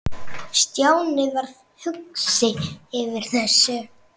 Stjáni varð hugsi yfir þessu.